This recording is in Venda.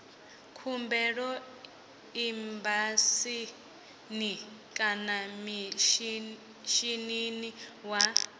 khumbelo embasini kana mishinini wa